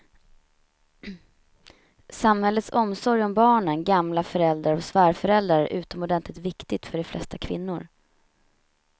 Samhällets omsorg om barnen, gamla föräldrar och svärföräldrar är utomordentligt viktig för de flesta kvinnor.